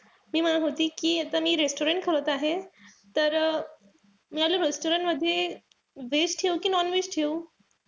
मी म्हणत होती कि आता मी restaurant खोलत आहे. तर मी आपल्या restaurant मध्ये veg ठेऊ कि non-veg ठेऊ?